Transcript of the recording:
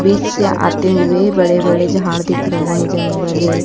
बीच से आते हुए बड़े बड़े झाड़ दिख रहे हैं जंगल है।